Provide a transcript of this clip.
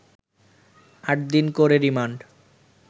৮ দিন করে রিমান্ড